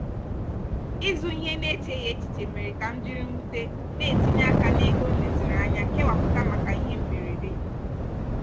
ịzụ ihe n'echeghị echiche mere ka m jiri mwute na-etinye aka n'ego m leziri anya kewapụta maka ihe mberede.